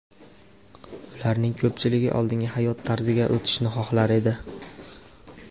Ularning ko‘pchiligi oldingi hayot tarziga o‘tishni xohlar edi.